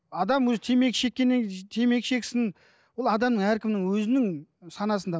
адам өзі темекі шеккеннен темекі шексін ол адамның әркімнің өзінің санасында